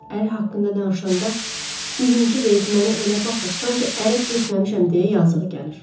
Əri haqqında danışanda bizimki deyib mənə elə baxır, sanki ərə getməmişəm deyə yazıq gəlir.